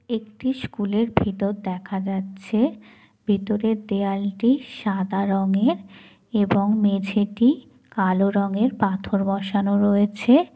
একটি স্কুল -এর ভেতর দেখা যাচ্ছে ভেতরের দেওয়ালটি সাদা রঙের | এবং মেঝেটি কালো রঙের পাথর বসানো রয়েছে।